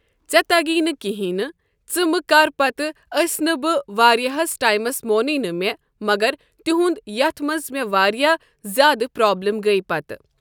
ژےٚ تگی نہٕ کینٛہہ ژٕ مہٕ کر پتہٕ أسۍ نہٕ بہٕ واریاہس ٹایمس مونُے نہٕ مےٚ مگر تیُہُنٛد یتھ منٛز مےٚ واریاہ زیادٕ پرابلِم گٔے پتہٕ۔